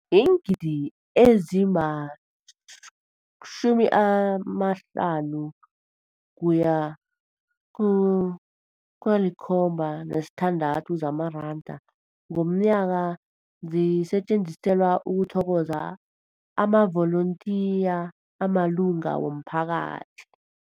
Iingidi ezima-576 zamaranda ngomnyaka zisetjenziselwa ukuthokoza amavolontiya amalunga womphakathi.